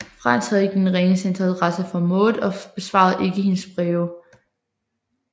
Frans havde ikke den ringeste interesse for Maud og besvarede ikke hendes breve